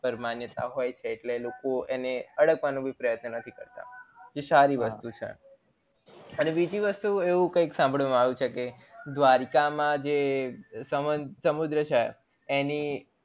માન્યતા ઓ હોય છે એટલે લોકો એને હડપવાનો પ્રયત્ન નથી કરતા એ સારી વસ્તુ છે અને બીજી વસ્તુ એવું કયક સંભાળવામાં આવ્યું છે કે દ્વારકા માં જે સમુદ્ર છે એની